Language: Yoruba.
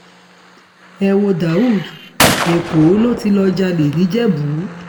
ẹ wo daud èkó ló ti lọ́ọ́ jalè nìjẹ̀bù